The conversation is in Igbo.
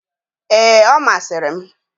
Ee, ọ masịrị m.